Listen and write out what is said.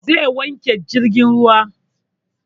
Zai wanke jirgin ruwan